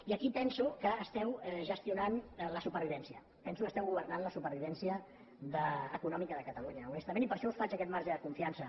i aquí penso que esteu gestionant la supervivència penso que esteu governant la supervivència econòmica de catalunya honestament i per això us faig aquest marge de confiança